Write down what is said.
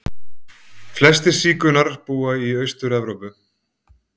Flestir sígaunar búa í Austur-Evrópu.